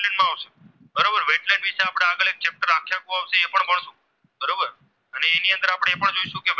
આપડે એ પણ જોઇશુ કે